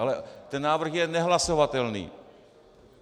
Ale ten návrh je nehlasovatelný.